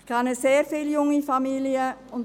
Ich kenne sehr viele junge Familien.